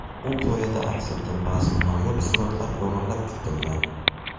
U qoyada aks etgan ba’zi noyob suratlar o‘g‘irlab ketilgan.